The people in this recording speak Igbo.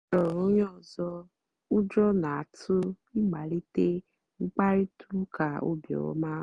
ọ́ chọ́ọ́rọ́ ónyé ọ́zọ́ ụ́jọ́ n'átụ̀ ị̀màlíté mkpàrị́tà ụ́ká óbíọ́mà.